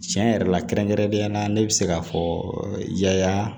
Tiɲɛ yɛrɛ la kɛrɛnkɛrɛnnenya la ne bɛ se k'a fɔ yaya